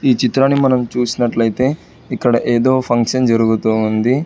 ఈ చిత్రాన్ని మనం చూసినట్లయితే ఇక్కడ ఏదో ఫంక్షన్ జరుగుతోంది.